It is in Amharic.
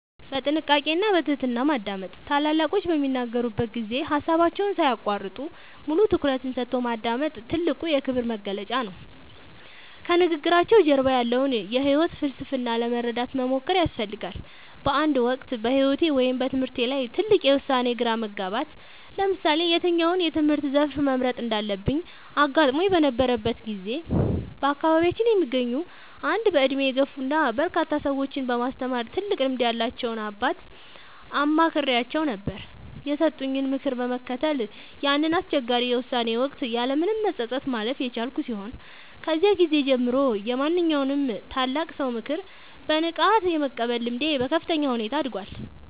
በጥንቃቄ እና በትህትና ማዳመጥ፦ ታላላቆች በሚናገሩበት ጊዜ ሃሳባቸውን ሳይያቋርጡ፣ ሙሉ ትኩረትን ሰጥቶ ማዳመጥ ትልቁ የክብር መግለጫ ነው። ከንግግራቸው ጀርባ ያለውን የህይወት ፍልስፍና ለመረዳት መሞከር ያስፈልጋል። በአንድ ወቅት በህይወቴ ወይም በትምህርቴ ላይ ትልቅ የውሳኔ ግራ መጋባት (ለምሳሌ የትኛውን የትምህርት ዘርፍ መምረጥ እንዳለብኝ) አጋጥሞኝ በነበረበት ጊዜ፣ በአካባቢያችን የሚገኙ አንድ በእድሜ የገፉ እና በርካታ ሰዎችን በማስተማር ትልቅ ልምድ ያላቸውን አባት አማክሬአቸው ነበር። የሰጡኝን ምክር በመከተል ያንን አስቸጋሪ የውሳኔ ወቅት ያለምንም መጸጸት ማለፍ የቻልኩ ሲሆን፣ ከዚያ ጊዜ ጀምሮ የማንኛውንም ታላቅ ሰው ምክር በንቃት የመቀበል ልምዴ በከፍተኛ ሁኔታ አድጓል።